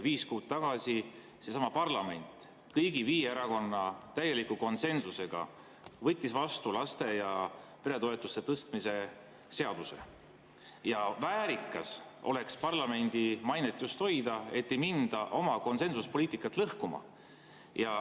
Viis kuud tagasi seesama parlament kõigi viie erakonna täieliku konsensusega võttis vastu laste‑ ja peretoetuste tõstmise seaduse ja väärikas oleks parlamendi mainet just hoida nii, et ei minda oma konsensuspoliitikat lõhkuma.